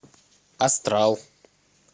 астрал